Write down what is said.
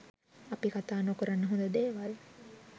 අපි කතා නොකරන හොඳ දේවල්